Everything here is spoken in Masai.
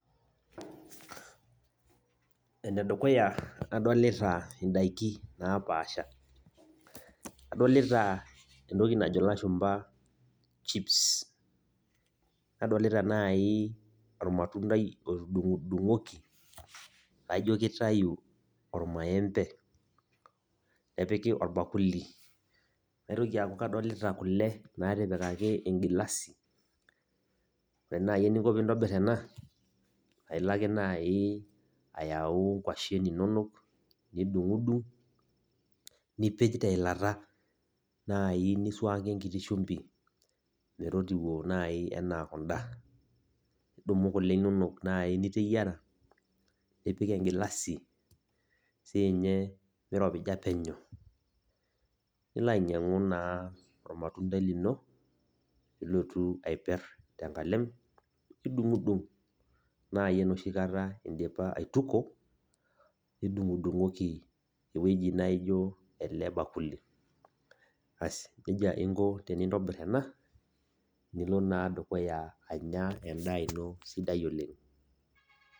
Enedukuya adolita indaiki napaasha, adolita entoki najo ilashumpa chips. Nadolita nai ormatuntai otudung'dung'oki, laijo kitayu ormaembe, nepiki orbakuli. Naitoki aku kadolita kule natipikaki engilasi. Ore nai eningo piintobir ena, ailake nai ayau nkwashen inonok, nidung'dung, nipej teilata nai nisuaki enkiti shumbi metotiwuo nai enaa kunda. Nidumu kule inonok nai niteyiara, nipik egilasi sinye miropija penyo. Nilo ainyang'u naa ormatuntai lino, pilotu aiper tenkalem, nidung'dung nai enoshi kata idipa aituko, nidung'dung'oki ewueji naijo ele bakuli. Asi, nejia inko tenintobir ena, nilo naa dukuya anya endaa ino sidai oleng.